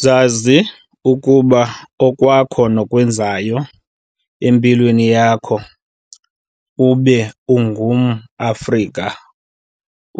Zazi ukuba okwakho nokwenzayo empilweni yakho ube ungum Afrika